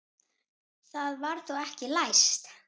Það var þá ekki læst!